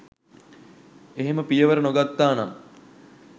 එහෙම පියවර නොගත්තානම්